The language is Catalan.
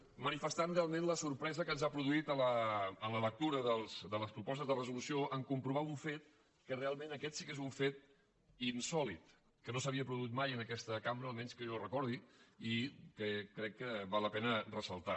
manifestant realment la sorpresa que ens ha produït la lectura de les propostes de resolució en comprovar un fet que realment aquest sí que és un fet insòlit que no s’havia produït mai en aquesta cambra almenys que jo recordi i que crec que val la pena fer ressaltar